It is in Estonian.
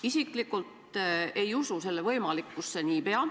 Isiklikult te ei usu, et see nii pea võimalik on.